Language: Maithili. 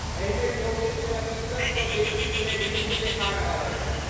एहिमे चौबीस प्रतिशतसँ बेसी प्लेजरिज्म देखा रहल अछि।